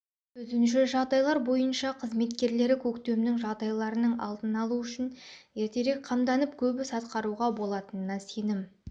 төтенше жағдайлар бөйынша қызметкерлері көктемнің жағдайларының алды алу үшін ертерек қамданып көп іс атқаруға болатынына сенім